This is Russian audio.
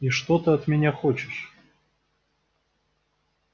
и что ты от меня хочешь